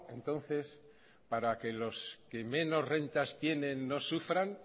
entonces para que los que menos rentas tienen no sufran